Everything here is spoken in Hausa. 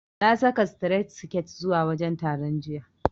Na saka sitiret siket zuwa wajen taron, jiya.